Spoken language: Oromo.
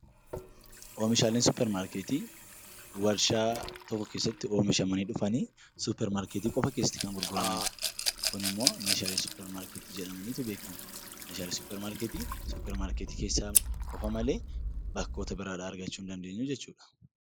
Oomishaaleen suupparmaarkeetii warshaa tokko keessatti oomishamanii dhufanii suupparmaarkeetii qofaa keessatti kan gurguramanidha. Kunimmoo suupparmaarkeetii jedhamanii beekamu. Meeshaaleen suupparmaarkeetii suupparmaarkeetii keessa qofaa malee bakkoota biraa argachuu hin dandeenyu jechuudha